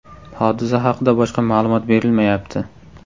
Hodisa haqida boshqa ma’lumot berilmayapti.